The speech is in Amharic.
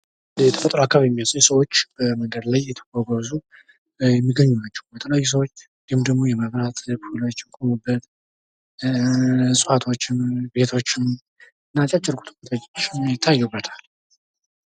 የተፈጥሮ አካባቢ የሚመስል ሰዎች በመንገድ ላይ እየተጓጓዙ የሚታዩ ናቸው። እንዲሁም ደግሞ የመብራት ፖሎች፣ እዋቶችን፣ ቤቶችም አጫጭር ቁጥቋጦዎችም ይታዩበታል።